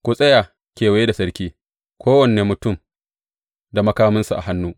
Ku tsaya kewaye da sarki, kowane mutum da makaminsa a hannu.